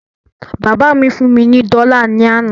Bàbá mí fún mí ní dọ́là ní àná